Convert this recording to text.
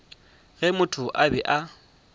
ge motho a be a